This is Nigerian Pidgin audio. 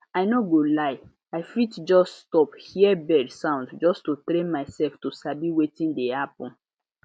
i no go lie i fit just stop hear bird sound just to train myself to sabi wetin dey happen